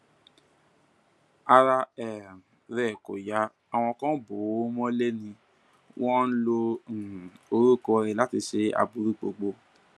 ara um rẹ kò yá àwọn kan ń bò ó mọlẹ ni wọn ń lo um orúkọ ẹ láti ṣe aburú gbogbo